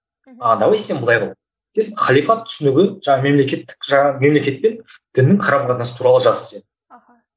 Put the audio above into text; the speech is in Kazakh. а давай сен былай қыл деп халифат түсінігі жаңағы мемлекеттік жаңағы мемлекет пен діннің қарым қатынасы туралы жаз сен аха